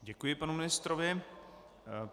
Děkuji panu ministrovi.